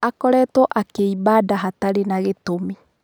Akoretwo akĩiba nda hatarĩ na gĩtumi.